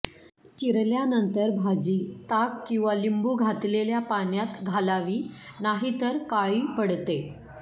चिरल्यानंतर भाजी ताक किंवा लिंबू घातलेल्या पाण्यात घालावी नाही तर काळी पडते